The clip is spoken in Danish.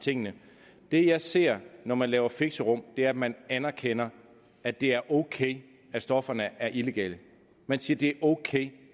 tingene det jeg ser når man laver fixerum er at man anerkender at det er ok at stofferne er illegale man siger det ok